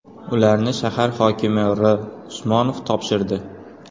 Ularni shahar hokimi R. Usmanov topshirdi.